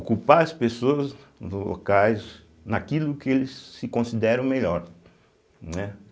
Ocupar as pessoas locais naquilo que eles se consideram melhor, né.